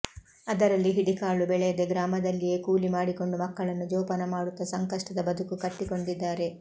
ಅದರಲ್ಲಿ ಹಿಡಿ ಕಾಳು ಬೆಳೆಯದೆ ಗ್ರಾಮದಲ್ಲಿಯೆ ಕೂಲಿ ಮಾಡಿಕೊಂಡು ಮಕ್ಕಳನ್ನು ಜೋಪಾನ ಮಾಡುತ್ತ ಸಂಕಷ್ಟದ ಬದುಕು ಕಟ್ಟಿಕೊಂಡಿದ್ದಾರೆ